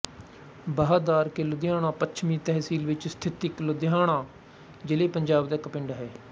ਬਾਹਦਾਰਕੇ ਲੁਧਿਆਣਾ ਪੱਛਮੀ ਤਹਿਸੀਲ ਵਿਚ ਸਥਿਤ ਇੱਕ ਲੁਧਿਆਣਾ ਜ਼ਿਲ੍ਹੇਪੰਜਾਬ ਦਾ ਇੱਕ ਪਿੰਡ ਹੈ